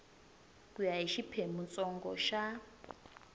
ku ya hi xiphemuntsongo xa